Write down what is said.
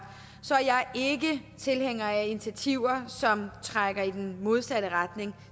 så jeg er ikke tilhænger af initiativer som trækker i den modsatte retning og